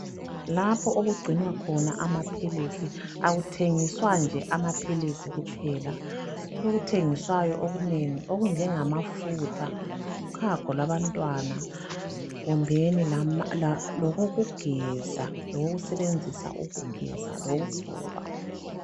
Lapho okugcinwa khona amaphilisi akuthengiswa nje amaphilisi kuphela, kulokuthengiswayo okunengi okunjengamafutha ,uchago lwabantwana kumbeni lokokugeza, lokokusebenzesa ukugeza lokokugcoba.